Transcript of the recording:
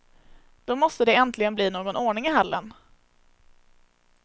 Då måste det äntligen bli någon ordning i hallen.